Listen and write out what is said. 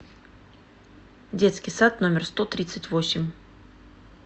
детский сад номер сто тридцать восемь